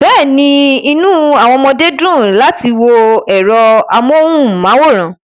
Bẹ́ẹ̀ni, inú àwọn ọmọdé dùn láti wo ẹ̀rọ amóhùnmáwòrán